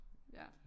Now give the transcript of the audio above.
Ja